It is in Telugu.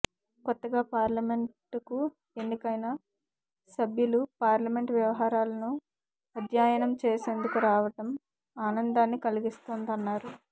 కొత్తగా పార్లమెంట్ కు ఎన్నికైన సభ్యులు పార్లమెంట్ వ్యవహారాలను అధ్యాయనం చేసేందుకు రావడం ఆనందాన్ని కలిగిస్తోందన్నారు